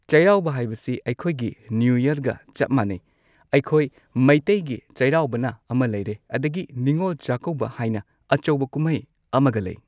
ꯆꯩꯔꯥꯎꯕ ꯍꯥꯏꯕꯁꯤ ꯑꯩꯈꯣꯏꯒꯤ ꯅ꯭ꯌꯨ ꯌꯔꯒ ꯆꯞ ꯃꯥꯟꯅꯩ ꯑꯩꯈꯣꯏ ꯃꯩꯇꯩꯒꯤ ꯆꯩꯔꯥꯎꯕꯅ ꯑꯃ ꯂꯩꯔꯦ ꯑꯗꯒꯤ ꯅꯤꯉꯣꯜ ꯆꯥꯛꯀꯧꯕ ꯍꯥꯏꯅ ꯑꯆꯧꯕ ꯀꯨꯝꯍꯩ ꯑꯃꯒ ꯂꯩ꯫